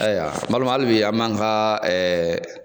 Ayiwa n balimaw hali bi an b'an fa